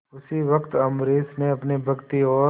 उसी वक्त अम्बरीश ने अपनी भक्ति और